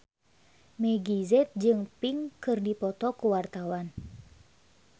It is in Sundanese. Meggie Z jeung Pink keur dipoto ku wartawan